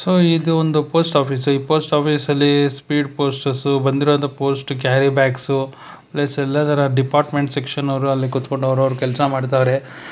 So ಇದೊಂದು post office ಈ post office ಅಲ್ಲಿ ಸ್ಪೀಡ್ ಪೋಸ್ಟ್ ಬಂದಿರುವಂತಹ ಪೋಸ್ಟು ಕ್ಯಾರಿಬ್ಯಾಕ್ಸು ಪ್ಲಸ್ ಎಲ್ಲಾ ತರ ಡಿಪಾರ್ಟ್ಮೆಂಟ್ ಸೆಕ್ಷನ್ ಅವ್ರು ಅಲ್ಲಿ ಕೂತ್ಕೊಂಡ್ ಅವ್ರ್ ಅವ್ರ್ ಕೆಲಸ ಮಾಡ್ತಾವ್ರೆ.